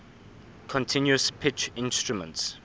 continuous pitch instruments